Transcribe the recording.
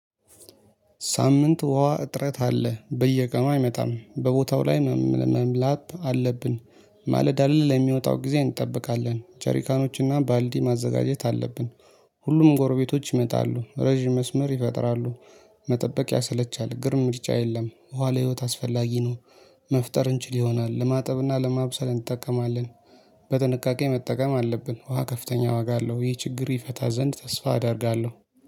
ሳምንት ውሃ እጥረት አለ። በየቀኑ አይመጣም። በቦታው ላይ መምላት አለብን። ማለዳ ለሚመጣው ጊዜ እንጠብቃለን። ጀሪካኖችና ባልዲ ማዘጋጀት አለብን። ሁሉም ጎርቤቶች ይመጣሉ። ረጅም መስመር ይፈጥራሉ። መጠበቅ ያሰለቻል፤ ግን ምርጫ የለም፤ ውሃ ለህይወት አስፈላጊ ነው። መፍጠር እንችል ይሆናል። ለማጠብና ለማብሰል እንጠቀማለን። በጥንቃቄ መጠቀም አለብን። ውሃ ከፍተኛ ዋጋ አለው። ይህ ችግር ይፈታ ዘንድ ተስፋ አደርጋለሁ